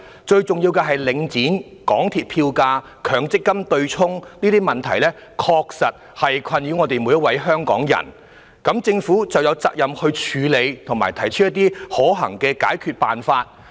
最重要的是，領展、港鐵票價及強積金對沖等問題確實困擾所有香港人，因此政府有責任處理及提出可行的解決辦法。